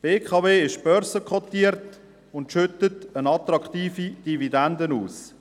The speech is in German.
Die BKW AG ist börsenkotiert und schüttet eine attraktive Dividende aus.